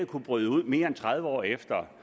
kunne bryde ud mere end tredive år efter